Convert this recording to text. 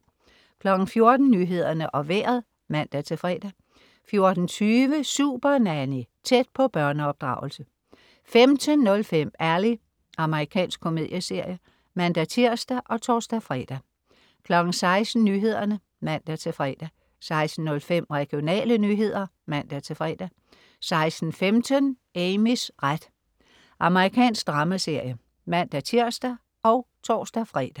14.00 Nyhederne og Vejret (man-fre) 14.20 Supernanny. Tæt på børneopdragelse 15.05 Ally. Amerikansk komedieserie (man-tirs og tors-fre) 16.00 Nyhederne (man-fre) 16.05 Regionale nyheder (man-fre) 16.15 Amys ret. Amerikansk dramaserie (man-tirs og tors-fre)